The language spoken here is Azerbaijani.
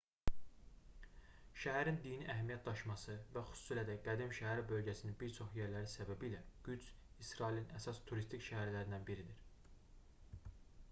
şəhərin dini əhəmiyyət daşıması və xüsusilə də qədim şəhər bölgəsinin bir çox yerləri səbəbilə qüds i̇srailin əsas turistik şəhərlərindən biridir